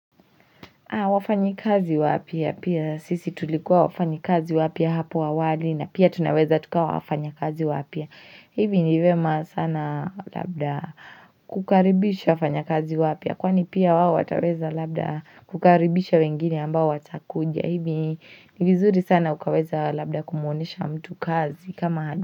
Wafanyi kazi wapya pia sisi tulikuwa wafanyi kazi wapya hapo awali na pia tunaweza tukawa wafanya kazi wapya hivi nivyema sana labda kukaribisha wafanya kazi wapya kwani pia wao wataweza labda kukaribisha wengine ambao watakuja hivi ni vizuri sana ukaweza labda kumuonyesha mtu kazi kama.